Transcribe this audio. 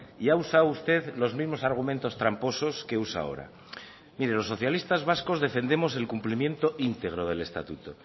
y ha usado usted los mismos argumentos tramposos que usa ahora mire los socialistas vascos defendemos el cumplimiento íntegro del estatuto